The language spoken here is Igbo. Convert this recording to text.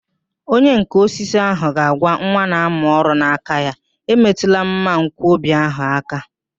Onyenká osisi ahụ ga-agwa nwa na-amụ ọrụ na nke ya, emetụla mmanwkọbi ahụ áká